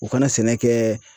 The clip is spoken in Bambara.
U kana sɛnɛ kɛ